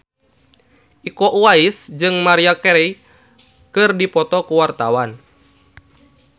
Iko Uwais jeung Maria Carey keur dipoto ku wartawan